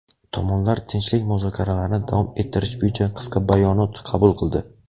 tomonlar tinchlik muzokaralarini davom ettirish bo‘yicha qisqa bayonot qabul qildi.